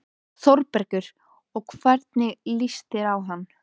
ÞÓRBERGUR: Og hvernig líst þér á hann?